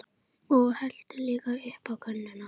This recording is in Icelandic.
Og helltu líka upp á könnuna.